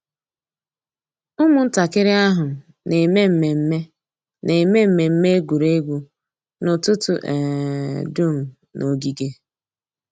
Ụ́mụ̀ntàkìrì àhụ̀ nà-èmé mmẹ̀mmẹ̀ nà-èmé mmẹ̀mmẹ̀ ègwè́ré́gwụ̀ n'ụ́tụ̀tụ̀ um dùm n'ògìgè.